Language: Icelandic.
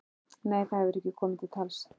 Nei, það hefur ekki komið til tals.